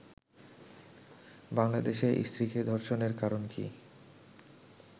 বাংলাদেশে স্ত্রীকে ধর্ষণের কারণ কি